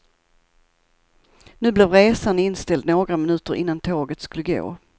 Nu blev resan inställd några minuter innan tåget skulle gå.